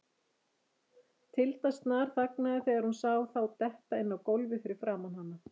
Tilda snarþagnaði þegar hún sá þá detta inn á gólfið fyrir framan hana.